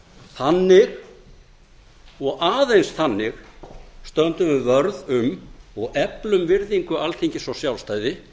þannig og aðeins þannig stöndum við vörð um og eflum virðingu alþingis og sjálfstæði